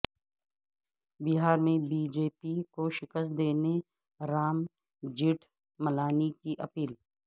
بہار میں B J P کو شکست دینے رام جیٹھ ملانی کی اپیل